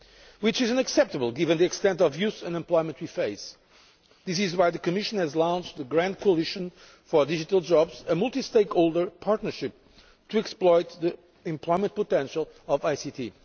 This is unacceptable, given the level of youth unemployment that we face. This is why the Commission has launched the Grand Coalition for Digital Jobs, a multi stakeholder partnership to exploit the employment potential of ICT.